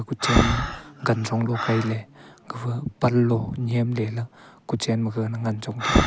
kuchen ma kanchonglo kaile gafa panlo nyemle la kuchen ma gaga na ngan chongtaga.